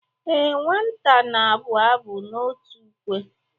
ee, nwata na-abụ abụ n'òtù ukwe